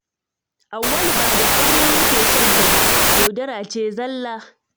Auwalu ba da aure yake son ta ba, yaudara ce zalla